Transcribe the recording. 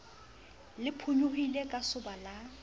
le phonyohile ka soba la